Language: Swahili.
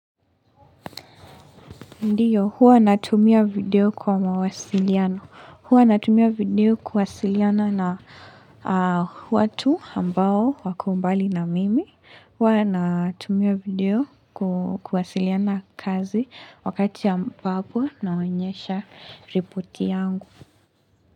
Ndiyo, huwa natumia video kwa mawasiliano. Huwa natumia video kuwawasiliana na watu ambao wakambali na mimi. Huwa natumia video kuwasiliana na kazi wakati ambapo naonyesha ripoti yangu.